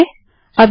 और एंटर दबायें